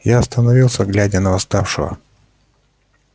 я остановился глядя на восставшего